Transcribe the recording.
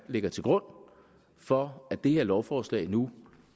ligger til grund for at det her lovforslag nu